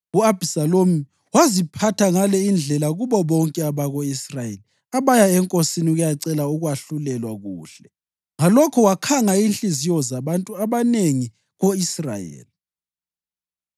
U-Abhisalomu waziphatha ngale indlela kubo bonke abako-Israyeli abaya enkosini ukuyacela ukwahlulelwa kuhle, ngalokho wakhanga inhliziyo zabantu abanengi ko-Israyeli.